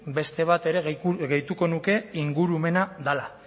beste bat gehituko nuke ingurumena dela